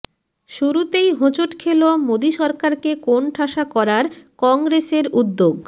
শুরুতেই হোঁচট খেল মোদী সরকারকে কোণঠাসা করার কংগ্রেসের উদ্যোগ